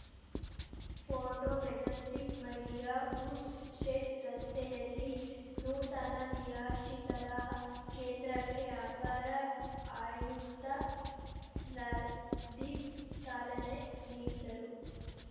photo Majestic ಮಳಿಯ goods shed ರಸ್ತೆಯಲ್ಲಿ ನೂತನ ನಿರಾಶಿತರ ಕೇಂದ್ರಕ್ಕೆ ಅಪರ ಆಯುಕ್ತ ರಂದೀಪ್‌ ಚಾಲನೆ ನೀಡಿದರು